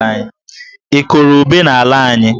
Ị kụrụ ube n'ala anyị?